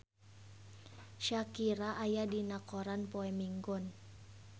Shakira aya dina koran poe Minggon